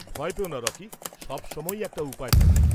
ভয় পেও না রকি। সব সময়েই একটা উপায় থাকে।